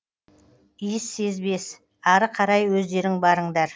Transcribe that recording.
иіссезбес ары қарай өздерің барыңдар